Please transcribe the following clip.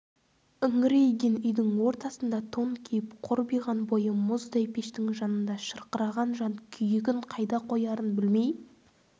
үңірейген үйдің ортасында тон киіп қорбиған бойы мұздай пештің жанында шырқыраған жан күйігін қайда қоярын білмей